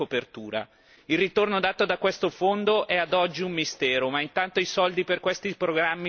Il ritorno dato da questo fondo è ad oggi un mistero ma intanto i soldi per questi programmi spariscono.